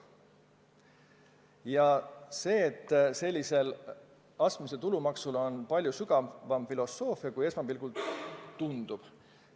Astmelise tulumaksu puhul kehtib palju sügavam filosoofia, kui esmapilgul tundub.